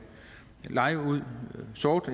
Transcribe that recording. leje ud sort